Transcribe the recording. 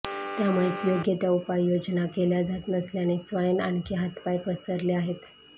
त्यामुळेच योग्य त्या उपाययोजना केल्या जात नसल्याने स्वाईन आणखी हातपाय पसरले आहेत